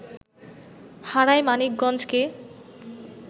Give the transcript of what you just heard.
হারায় মানিকগঞ্জকে